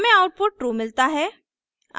हमें output true मिलता है